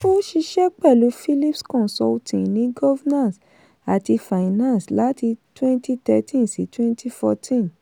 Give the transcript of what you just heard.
ó ṣiṣẹ́ pẹ̀lú phillips consulting ní governance àti finance láti twenty thirteen sí twenty fourteen